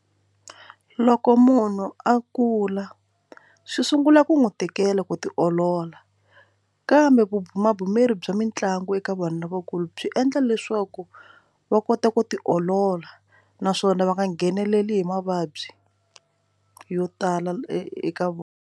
Loko munhu a kula swi sungula ku n'wi tikela ku tiolola kambe vubihi magume ri bya mitlangu eka vanhu lavakulu byi endla leswaku va kota ku ti olola naswona va nga ngheneleli hi mavabyi yo tala eka vona.